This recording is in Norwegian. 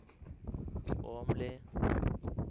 Åmli